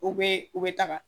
U bɛ u bɛ taga